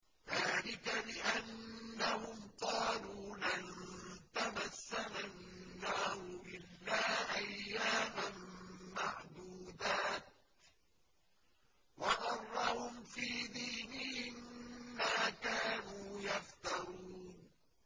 ذَٰلِكَ بِأَنَّهُمْ قَالُوا لَن تَمَسَّنَا النَّارُ إِلَّا أَيَّامًا مَّعْدُودَاتٍ ۖ وَغَرَّهُمْ فِي دِينِهِم مَّا كَانُوا يَفْتَرُونَ